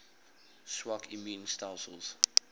swak immuun stelsels